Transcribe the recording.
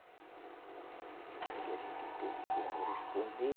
Porque a gente tem como responder